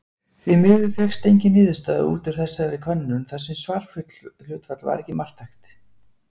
Því miður fékkst engin niðurstaða út úr þessari könnun þar sem svarhlutfall var ekki marktækt.